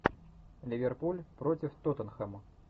ливерпуль против тоттенхэма